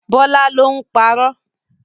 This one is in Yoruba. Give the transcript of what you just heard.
Bọĺá ló ń parọ́